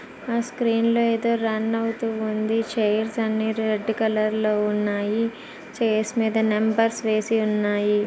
Screen లో అయితే run అవుతోంది. చైర్స్అన్ని రెడ్ కలర్ లో ఉన్నాయి చైర్స్మీద నెంబర్స్ వేసి ఉన్నాయి.